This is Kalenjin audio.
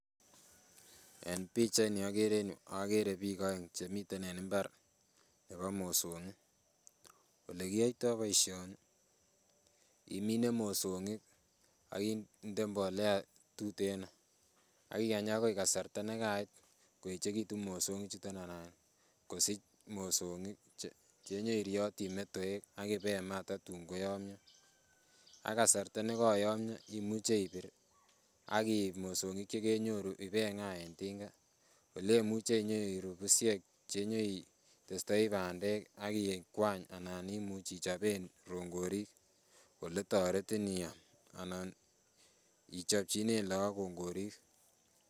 En pichait ni okere en yuu okere biik oeng chemiten en mbar nebo mosong'ik, elekiyoitoo boisioni imine mosong'ik ak inde mbolea tuteno ak ikany akoi kasarta nekait koeechekitun mosong'ik chuton anan kosich mosong'ik chenyerioti metoek ak ibe maa kotatun koyomyo. Ak kasarta nekoyomyo imuche ibir ak iib mosong'ik chekenyoru ibeng'aa en tinga olemuche inyoru busiek chenyoitestoi bandek ak ikwany anan ichoben rongorik oletoretin iam anan ih ichopchinen look kongorik